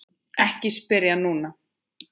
Ekki spyrja núna!